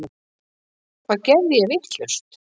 Hvað geri ég vitlaust?